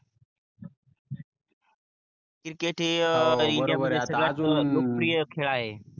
cricket हे india मध्ये सड्यातजून लोक प्रिय खेड आहे. हो बरोबर आहे आता अजून